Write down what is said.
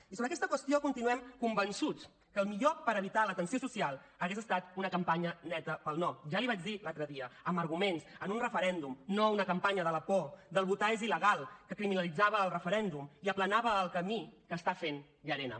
i sobre aquesta qüestió continuem convençuts que el millor per evitar la tensió social hauria estat una campanya neta pel no ja l’hi vaig dir l’altre dia amb arguments amb un referèndum no una campanya de la por del votar és il·legal que criminalitzava el referèndum i aplanava el camí que està fent llarena